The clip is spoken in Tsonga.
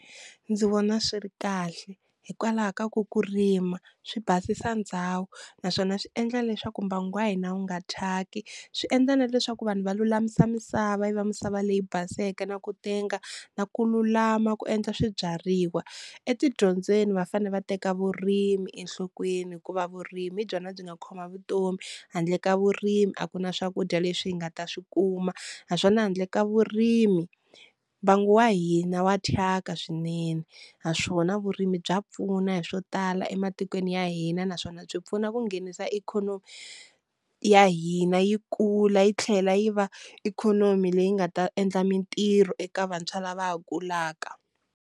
Ndzi vona swi ri kahle hikwalaho ka ku ku rima swi basisa ndhawu, naswona swi endla leswaku mbangu wa hina wu nga thyaki swi endla na leswaku vanhu va lulamisa misava yi va misava leyi baseke na ku tenga na ku lulama ku endla swibyariwa, etidyondzweni va fane va teka vurimi enhlokweni hikuva vurimi hi byona byi nga khoma vutomi handle ka vurimi a ku na swakudya leswi hi nga ta swi kuma, naswona handle ka vurimi mbangu wa hina wa thyaka swinene naswona vurimi bya pfuna hi swo tala ematikweni ya hina, naswona byi pfuna ku nghenisa ikhonomi ya hina yi kula yi tlhela yi va ikhonomi leyi nga ta endla mintirho eka vantshwa lava va ha kulaka.